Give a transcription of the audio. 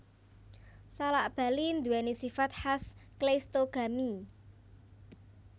Salak Bali nduwèni sifat khas kleistogami